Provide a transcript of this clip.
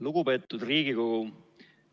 Lugupeetud Riigikogu!